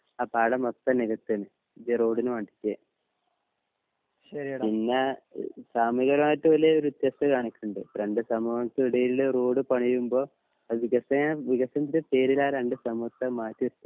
ആ പാടം മൊത്തം നികത്താണ് ഈ റോഡിന് വാണ്ടീട്ട് പിന്നെ ഏഹ് സാമൂഹിക പരമായിട്ട് വല്യേ ഒര് വ്യത്യസ്തത കാണിക്ക്ണ്ട് ഇപ്പൊ രണ്ട് സമൂഹത്തിന് ഇടയിൽ റോഡ് പണിയുമ്പോ അത് പ്രേതേകം വികസനത്തിന്റെ പേരിലാ രണ്ട് സമൂഹത്തെ മാറ്റി നിർത്ത്യാണ്